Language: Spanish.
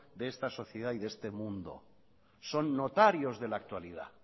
de esta sociedad y de este mundo son notarios de la actualidad